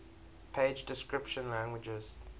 page description languages